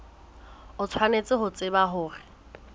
o tshwanetse ho tseba hore